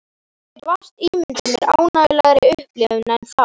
Ég get vart ímyndað mér ánægjulegri upplifun en þá.